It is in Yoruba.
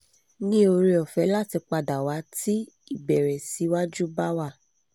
ni ore ofe lati padawa ti ibere si waju ba wa